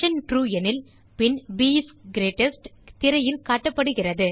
true எனில் பின் ப் இஸ் கிரீட்டெஸ்ட் திரையில் காட்டப்படுகிறது